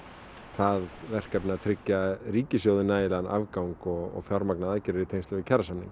það verkefni að tryggja ríkissjóði nægjanlegan afgang og fjármagna aðgerðir í tengslum við kjarasamninga